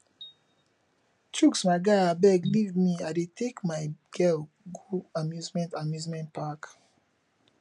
chuks my guy abeg leave me i dey take my girl go amusement amusement park